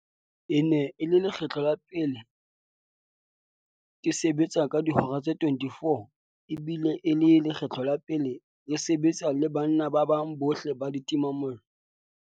"E ne e le lekgetlo la pele ke sebetsa ka dihora tse 24 ebile e ne e le lekgetlo la pele re se-betsa le banna ba bang bohle ba ditimamollo."